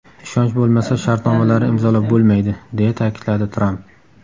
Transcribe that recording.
Ishonch bo‘lmasa shartnomalarni imzolab bo‘lmaydi!” deya ta’kidladi Tramp.